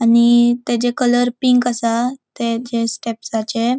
आणि तेजे colour pink असा तेजे स्टेप्सआचे --